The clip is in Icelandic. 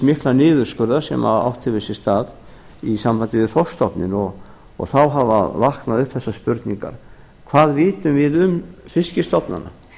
mikla niðurskurðar sem átt hefur sér stað í sambandi við þorskstofninn og þá hafa vaknað upp þessar spurningar hvað vitum við um fiskstofnana